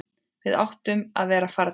Við áttum að vera farnir.